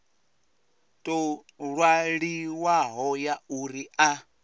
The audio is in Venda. tou ṅwaliwaho ya uri a